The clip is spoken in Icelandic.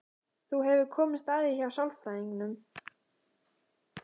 Þú hefur komist að því hjá sálfræðingnum?